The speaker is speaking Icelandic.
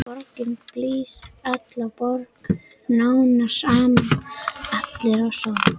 Borgin sem ég kom fyrst til, borg námsáranna.